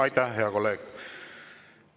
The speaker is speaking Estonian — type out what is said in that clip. Aitäh, hea kolleeg!